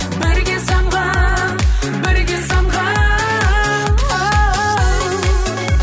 бірге самғап бірге самғап оу